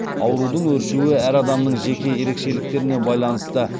аурудың өршуі әр адамның жеке ерекшеліктеріне байланысты